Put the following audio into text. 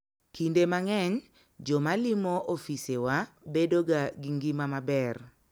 Kinde mang'eny, joma limo ofisewa bedoga gi ngima maber.